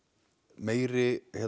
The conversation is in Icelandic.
meiri